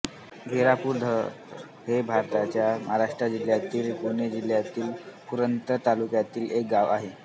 घेरापूरंधर हे भारताच्या महाराष्ट्र राज्यातील पुणे जिल्ह्यातील पुरंदर तालुक्यातील एक गाव आहे